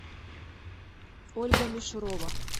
ольга мишурова